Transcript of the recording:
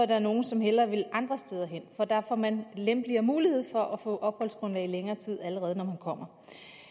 der er nogle som hellere vil andre steder hen for der får man lempeligere mulighed for at få opholdsgrundlag i længere tid allerede når man kommer